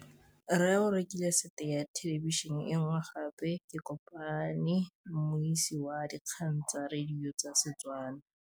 Rre o rekile sete ya thêlêbišênê e nngwe gape. Ke kopane mmuisi w dikgang tsa radio tsa Setswana.